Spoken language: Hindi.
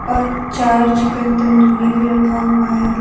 और चार चिकन तंदूरी भी रखा हुआ है।